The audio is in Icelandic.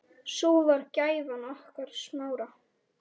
Sú var gæfan okkar Smára.